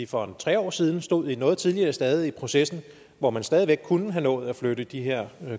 for en tre år siden stod vi på et noget tidligere stade i processen hvor man stadig væk kunne have nået at flytte de her